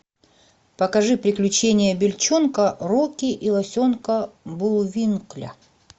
покажи приключения бельчонка рокки и лосенка буллвинкля